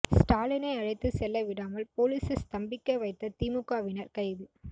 ஸ்டாலினை அழைத்து செல்ல விடாமல் போலீஸை ஸ்தம்பிக்க வைத்த திமுகவினர் கைது